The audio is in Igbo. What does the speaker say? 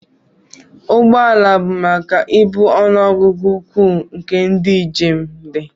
Ụgbọ ala bụ maka ibu ọnụ ọgụgụ ukwuu nke ndị njem dị